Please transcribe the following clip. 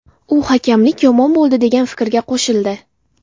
U hakamlik yomon bo‘ldi degan fikrga qo‘shildi.